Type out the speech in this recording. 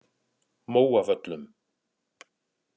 Móavöllum